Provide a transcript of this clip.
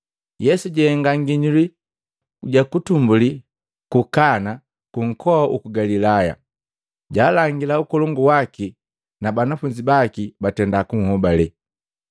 Yesu jahenga nginyuli ja kwanza ku Kana kunkoa uku Galilaya, jalangila ukolongu waki na banafunzi baki batenda kunhobale.